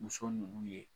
Muso ninnu ye